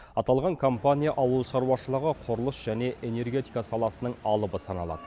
аталған компания ауыл шаруашылығы құрылыс және энергетика саласының алыбы саналады